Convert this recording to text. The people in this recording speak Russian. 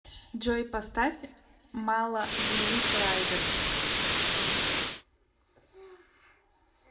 джой поставь мало денис райдер